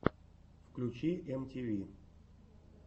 включи эм ти ви